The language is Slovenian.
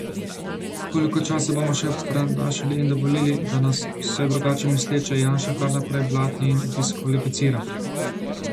Koliko časa bomo še prenašali in dovolili, da nas, vse drugače misleče, Janša kar naprej blati in diskvalificira?